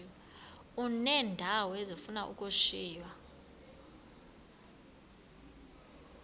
uneendawo ezifuna ukushiywa